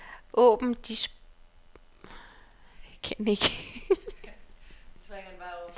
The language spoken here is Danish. Åbn distributionsliste.